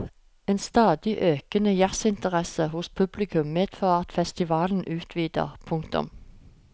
En stadig økende jazzinteresse hos publikum medfører at festivalen utvider. punktum